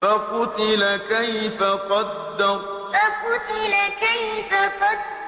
فَقُتِلَ كَيْفَ قَدَّرَ فَقُتِلَ كَيْفَ قَدَّرَ